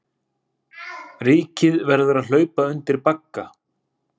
Ríkið verði að hlaupa undir bagga